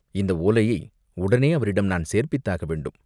இந்த ஓலையை உடனே அவரிடம் நான் சேர்ப்பித்தாக வேண்டும்.